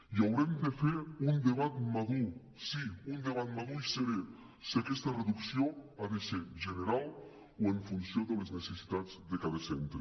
i haurem de fer un debat madur sí un debat madur i serè si aquesta reducció ha de ser general o en funció de les necessitats de cada centre